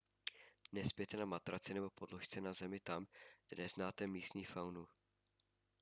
nespěte na matraci nebo podložce na zemi tam kde neznáte místní faunu